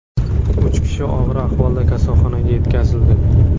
Uch kishi og‘ir ahvolda kasalxonaga yetkazildi.